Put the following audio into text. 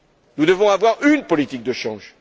Nous devons avoir UNE politique de change.